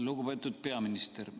Lugupeetud peaminister!